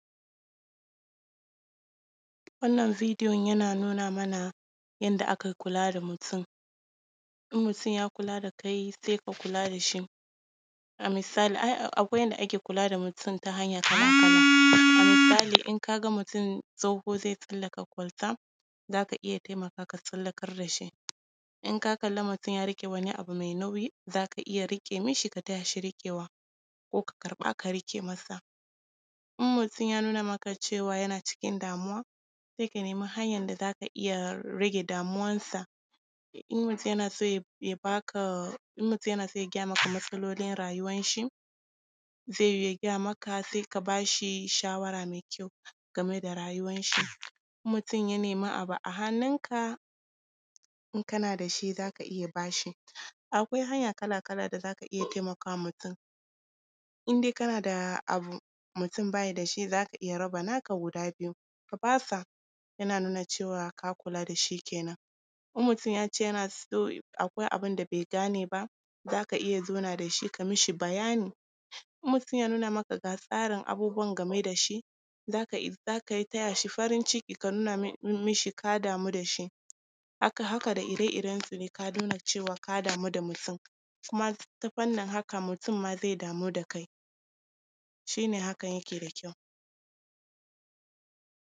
Wannan videon yana nuna mana yadda ake kula da mutum. In mutum ya kula da kai, sai ka kula da shi. A misali ai akwai yadda ake kula da mutum ta hanya kala-kala. A misali in ka ga mutum tsoho zai tsallaka kwalta,, za ka iya, ka taimaka, ka tsallakar da shi. In ka ga mutum ya riƙe wani abu ,ai nauyi, zaka iya riƙe mishi, ka taya shi riƙewa, ko ka karɓa, ka riƙe masa. In mutum ya nuna maka cewa yana cikin damuwa, sai ka nemi hanyan da za ka iya rage damuwansa. In mutum yana son ya ba ka, in mutum yana son ya gaya maka matsalolin rayuwanshi, zai yiwu ya gaya maka, sai ka ba shi shawara mai kyau game da rayuwanshi. In mutum ya nemi abu a hannunka, in kana da shi za ka iya ba shi. Akwai hanya kala-kala da za ka iya taimaka wa mutum, in dai kana da abu, mutum ba ya da shi, za ka iya raba naka guda biyu ka ba sa, yana nuna cewa ka kula da shi kenan. In mutum ya ce yana so, akwai abin da bai gane ba, za ka iya zauna da shi ka mishi bayani. In mutum ya nuna maka ga tsarin abubuwan game da shi, za ka taya shi farin ciki, ka nuna mishi ka damu da shi. Haka, haka da ire-irensu dai ka nuna cewa ka damu da mutum. Kuma ta fannin haka, mutum ma zai damu da kai, shi ne hakan yake da kyau.